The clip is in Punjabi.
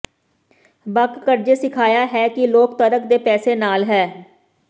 ਬਕ ਕਰਜ਼ੇ ਸਿਖਾਇਆ ਹੈ ਕਿ ਲੋਕ ਤਰਕ ਦੇ ਪੈਸੇ ਨਾਲ ਹੈ